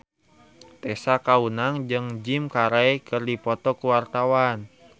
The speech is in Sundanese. Tessa Kaunang jeung Jim Carey keur dipoto ku wartawan